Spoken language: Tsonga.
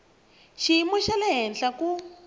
xiyimo xa le henhla ku